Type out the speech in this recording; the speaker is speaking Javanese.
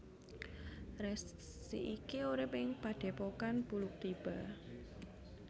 Resi iki urip ing Padhépokan Bluluktiba